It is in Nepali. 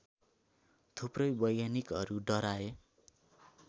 थुप्रै वैज्ञानिकहरू डराए